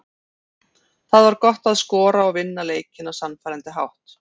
Það var gott að skora og vinna leikinn á sannfærandi hátt.